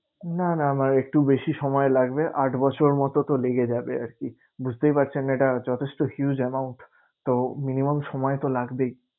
না না আমার একটু বেশি সময় লাগবে। আট বছর মতো তো লেগে যাবে আরকি বুঝতেই পারছেন এটা যথেষ্ট huge amount তো minimum সময় তো লাগবেই।